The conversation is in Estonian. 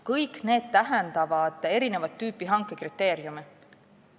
Kõik see tähendab erinevat tüüpi hankekriteeriume.